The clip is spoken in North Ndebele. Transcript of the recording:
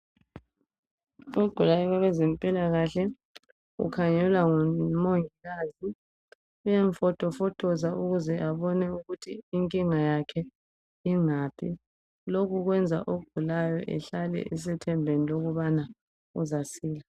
Ogukayo kezemakahle, ukhangelwa ngumongikazi. Uyamfotofotiza ukuthi abone ukuthi inkinga yakhe ingaphi. Lokhu kwenza ogulayo ahlale esethembeni lokubana uzasila,